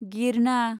गिरना